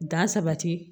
Dan sabati